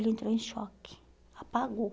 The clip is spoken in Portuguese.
Ele entrou em choque, apagou.